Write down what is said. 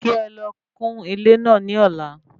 Kí ẹlọ kún ilé náà ní ọ̀la